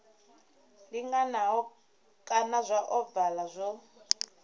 linganaho kana zwa ovala zwo